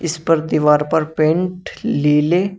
इस पर दीवार पर पेंट लीले--